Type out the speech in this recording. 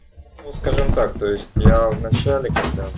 ну скажем так то есть я в начале когда